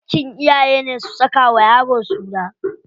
Haƙƙin iyayene su saka wa yaro suna.